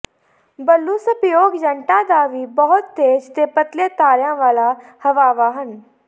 blue ਸਪਿਯੋਗਯੰਟਾਂ ਦਾ ਵੀ ਬਹੁਤ ਤੇਜ਼ ਤੇ ਪਤਲੇ ਤਾਰਿਆਂ ਵਾਲਾ ਹਵਾਵਾਂ ਹਨ